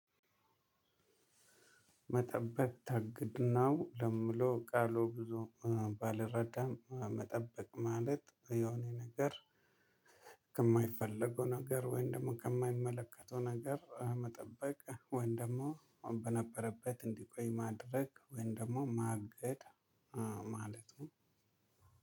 መጠበቅ ታግድ ነው ለምለው ቃሉ ብዙ ባልረዳም መጠበቅ ማለት የሆነ ነገር ከማይፈለጉ ነገር ወይም ደግሞ ከማይመለከተው ነገር መጠበቅ ወይን ደግሞ በነበረበት እንዲቆይ ማድረግ ወይም ደግሞ ማገድ ማለት ነው።